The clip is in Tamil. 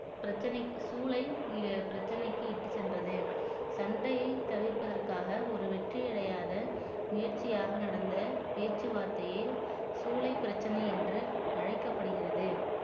பிரச்சனை ஜூலை பிரச்சனைக்கு இட்டுச்சென்றது சண்டையை தவிர்ப்பதற்காக ஒரு வெற்றியடையாத முயற்சியாக நடந்த பேச்சுவார்த்தையில் ஜூலை பிரச்சனை என்று அழைக்கப்படுகிறது